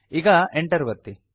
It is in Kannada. ಈಗ Enter ಒತ್ತಿ